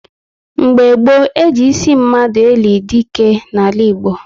Mgbe gboo, e ji ịsị mmadụ enyi dike n'ala Igbo